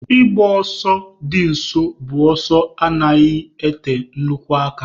Ịgba ọsọ di nso bụ ọsọ na anaghị ete nnukwu aka.